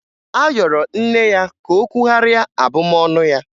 A yọrọ nne ya ka o kwugharịa abụmọnụ ya.